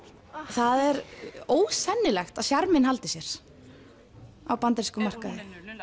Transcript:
það er ósennilegt að sjarminn haldi sér á bandarískum markaði